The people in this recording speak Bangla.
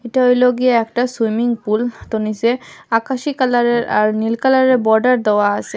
এইটা হইল গিয়া একটা সুইমিং পুল তো নীসে আকাশি কালারের আর নীল কালারের বর্ডার দেওয়া আসে।